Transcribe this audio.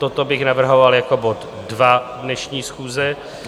Toto bych navrhoval jako bod dva dnešní schůze.